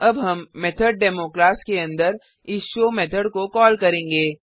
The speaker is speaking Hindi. अब हम मेथोडेमो क्लास के अंदर इस शो मेथड को कॉल करेंगे